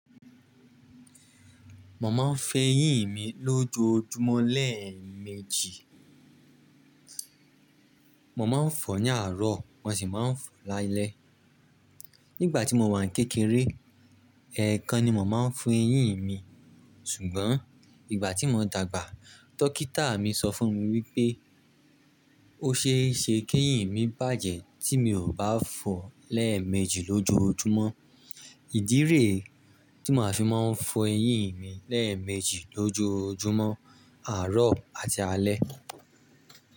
Mo máa ń fo eyín mi lójoójúmọ́ lẹ́ẹ̀mejì. Mo máa ń fọ̀ ní àárọ̀, mo sì máa ń fọ̀ lálẹ́. Nígbà tí mo wà ní kékeré, ẹ̀ẹ̀kan ni mo máa ń fọ eyín mi. Ṣùgbọ́n ìgbà tí mo dàgbà, dókítà mi sọ fún mi wípé o ṣe é ṣe kí eyín mi bàjẹ́ tí mi ò bá fọ̀ lẹ́ẹ̀mejì lójoójúmọ́. Ìdí rẹ̀ tí màá fi máa ń fọ eyín mi lẹ́ẹ̀mejì lójoójúmọ́, àárọ̀ àti alẹ́.